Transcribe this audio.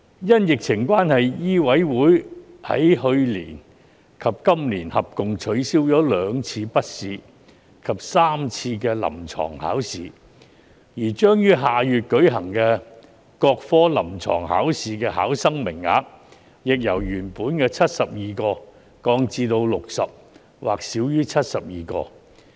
因疫情關係，醫委會在去年及今年合共取消了兩次筆試及3次臨床考試，而將於下月舉行的各科臨床考試的考生名額，亦由原本的72個降至60個或少於72個。